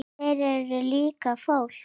Þeir eru líka fólk.